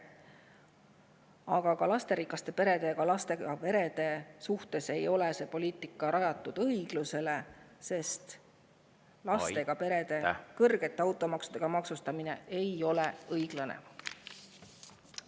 Aga ka lasterikaste perede ja lastega perede suhtes ei ole see poliitika rajatud õiglusele, sest lastega perede maksustamine kõrge automaksuga ei ole õiglane.